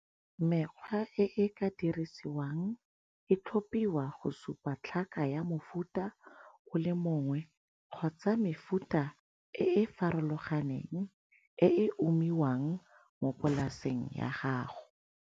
Mekgwa e e ka dirisiwang e tlhopiwa go supa tlhaka ya mofuta o le mongwe kgotsa mefuta e e farologaneng e e umiwang mo polaseng ya gago.